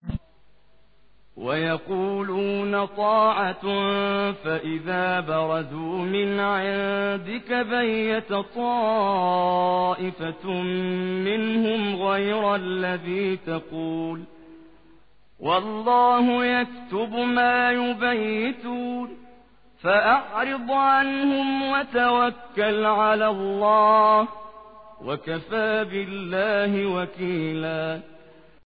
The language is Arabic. وَيَقُولُونَ طَاعَةٌ فَإِذَا بَرَزُوا مِنْ عِندِكَ بَيَّتَ طَائِفَةٌ مِّنْهُمْ غَيْرَ الَّذِي تَقُولُ ۖ وَاللَّهُ يَكْتُبُ مَا يُبَيِّتُونَ ۖ فَأَعْرِضْ عَنْهُمْ وَتَوَكَّلْ عَلَى اللَّهِ ۚ وَكَفَىٰ بِاللَّهِ وَكِيلًا